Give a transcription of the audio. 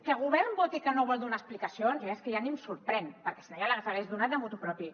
que el govern voti que no vol donar explicacions ja és que ni em sorprèn perquè si no ja les hagués donat motu proprio